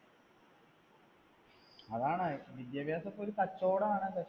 അതാണ്‌ വിദ്യാഭ്യാസം ഒക്കെ ഒരു കച്ചോടാണ്.